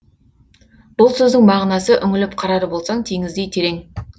бұл сөздің мағынасы үңіліп қарар болсаң теңіздей терең